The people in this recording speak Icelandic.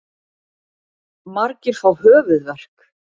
Margir fá höfuðverk.